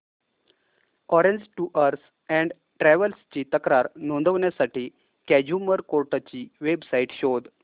orange tours and travels ची तक्रार नोंदवण्यासाठी कंझ्युमर कोर्ट ची वेब साइट शोध